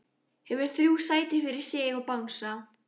Hefur þrjú sæti fyrir sig og bangsa.